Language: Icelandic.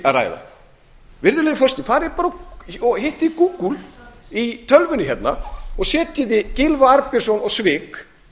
ræða virðulegi forseti farið bara og hittið google í tölvunni hérna og setjið gylfa arnbjörnsson og svik